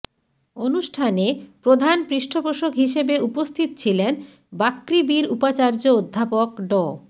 অনুষ্ঠানে প্রধান পৃষ্ঠপোষক হিসেবে উপস্থিত ছিলেন বাকৃবির উপাচার্য অধ্যাপক ড